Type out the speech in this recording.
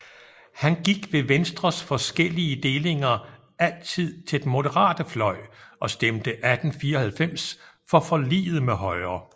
Han gik ved Venstres forskellige delinger altid til den moderate fløj og stemte 1894 for forliget med Højre